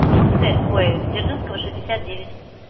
удмуртская ой дзержинского шестьдесят девять